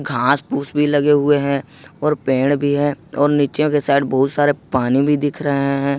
घास फूस भी लगे हुए हैं और पेड़ भी है और नीचे के साइड बहुत सारा पानी भी दिख रहे हैं।